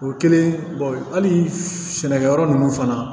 O kɛlen hali sɛnɛkɛyɔrɔ ninnu fana